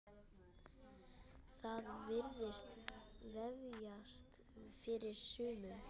Það virðist vefjast fyrir sumum.